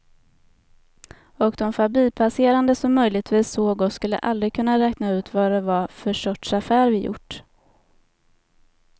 Och de förbipasserande som möjligtvis såg oss skulle aldrig kunna räkna ut vad det var för sorts affär vi gjort.